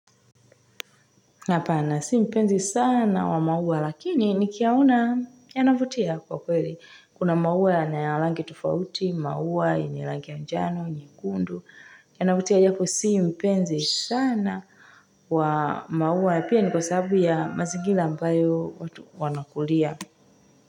Hapana, si mpenzi sana wa maua, lakini nikiyaona, yanavutia kwa kweli. Kuna maua na rangi tofauti, maua ya manjano, nyekundu. Yanavutia japo si mpenzi sana, wa maua, pia ni kwa sababu ya mazingira ambayo watu wanakulia.